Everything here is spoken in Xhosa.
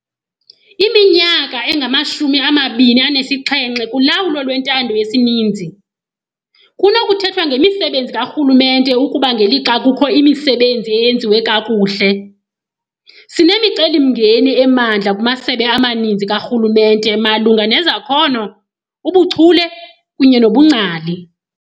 Iminyaka engamashumi amabini anesixhenxe kulawulo lwentando yesininzi, kunokuthethwa ngemisebenzi karhulumente ukuba, ngelixa kukho imisebenzi eyenziwe kakuhle, sinemicelimngeni emandla kumasebe amaninzi karhulumente malunga nezakhono, ubuchule kunye nobungcali.